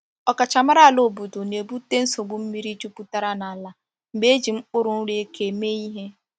Ọkachamara ala obodo na-ebute nsogbu mmiri jupụtara n’ala mgbe eji mkpụrụ nri eke mee ihe.